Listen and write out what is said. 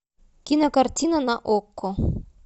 кинокартина на окко